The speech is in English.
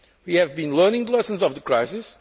We have been learning lessons from the crisis.